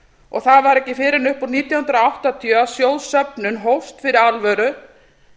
og það var ekki fyrr en upp úr nítján hundruð áttatíu að sjóðsöfnun hófst fyrir alvöru